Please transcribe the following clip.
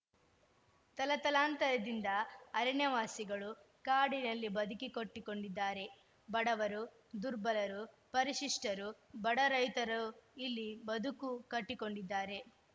ತಲತಲಾಂತರದಿಂದ ಅರಣ್ಯವಾಸಿಗಳು ಕಾಡಿನಲ್ಲಿ ಬದಿಕಿಕೊಟ್ಟಿಕೊಂಡಿದ್ದಾರೆ ಬಡವರು ದುರ್ಬಲರು ಪರಿಶಿಷ್ಟರು ಬಡ ರೈತರು ಇಲ್ಲಿ ಬದುಕು ಕಟ್ಟಿಕೊಂಡಿದ್ದಾರೆ